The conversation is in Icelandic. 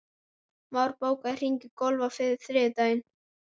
Már, bókaðu hring í golf á þriðjudaginn.